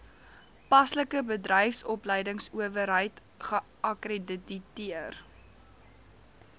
paslike bedryfsopleidingsowerheid geakkrediteer